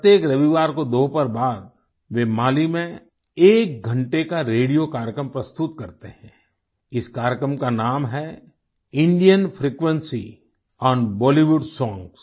प्रत्येक रविवार को दोपहर बाद वे माली में एक घंटे का रेडियो कार्यक्रम प्रस्तुत करते हैं इस कार्यक्रम का नाम है Indian frequency on Bollywood songs